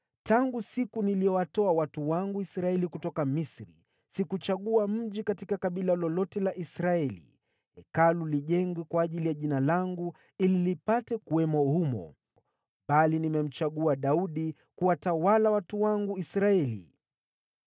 ‘Tangu siku niliyowatoa watu wangu Israeli kutoka Misri, sikuchagua mji katika kabila lolote la Israeli ili Hekalu lijengwe humo ili Jina langu lipate kuwamo humo, bali nimemchagua Daudi kuwatawala watu wangu Israeli.’